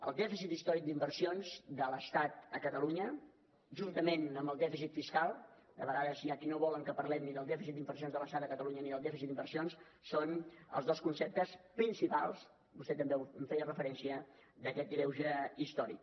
el dèficit històric d’inversions de l’estat a catalunya juntament amb el dèficit fiscal de vegades hi ha qui no vol que parlem ni del dèficit d’inversions de l’estat a catalunya ni del dèficit d’inversions són els dos conceptes principals vostè també hi feia referència d’aquest greuge històric